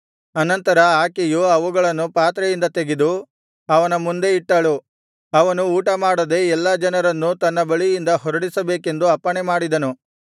ಅನಂತರ ಆಕೆಯು ಅವುಗಳನ್ನು ಪಾತ್ರೆಯಿಂದ ತೆಗೆದು ಅವನ ಮುಂದೆ ಇಟ್ಟಳು ಅವನು ಊಟಮಾಡದೆ ಎಲ್ಲಾ ಜನರನ್ನು ತನ್ನ ಬಳಿಯಿಂದ ಹೊರಡಿಸಬೇಕೆಂದು ಅಪ್ಪಣೆ ಮಾಡಿದನು